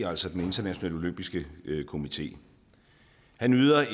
altså den internationale olympiske komité han yder